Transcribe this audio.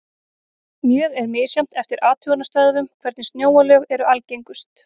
Mjög er misjafnt eftir athugunarstöðvum hvernig snjóalög eru algengust.